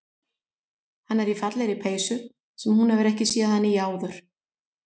Hann er í fallegri peysu sem hún hefur ekki séð hann í áður.